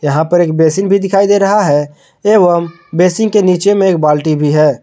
यहां पर एक बेसिन भी दिखाई दे रहा है एवं बेसिंग के नीचे में एक बाल्टी भी है।